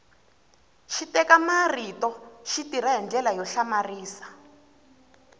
xiteka marito xi tirha hi ndlela yo hlamarisa